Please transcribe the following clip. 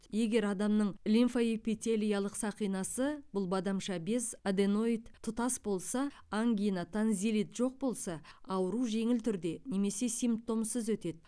егер адамның лимфаэпителиялық сақинасы бұл бадамша без аденоид тұтас болса ангина тонзиллит жоқ болса ауру жеңіл түрде немесе симптомсыз өтеді